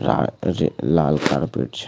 ला रे लाल कारपेट छै।